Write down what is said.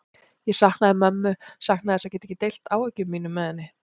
Ég saknaði mömmu, saknaði þess að geta ekki deilt áhyggjum mínum með henni.